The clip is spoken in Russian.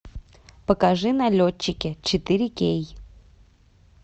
покажи налетчики четыре кей